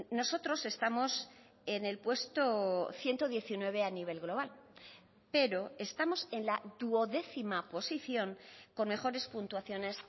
nosotros estamos en el puesto ciento diecinueve a nivel global pero estamos en la duodécima posición con mejores puntuaciones